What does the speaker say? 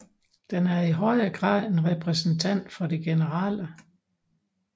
Den er i højere grad en repræsentant for det generelle